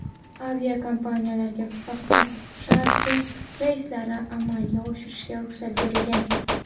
Aviakompaniyalarga faqat charter reyslarini amalga oshirishga ruxsat berilgan.